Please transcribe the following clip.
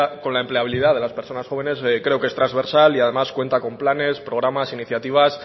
con la empleabilidad de las personas jóvenes creo que es transversal y además cuenta con planes programas iniciativas